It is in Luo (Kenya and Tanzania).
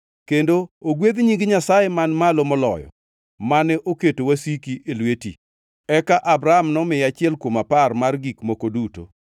Kendo ogwedh Nying Nyasaye Man Malo Moloyo mane oketo wasiki e lweti.” Eka Abram nomiye achiel kuom apar mar gik moko duto.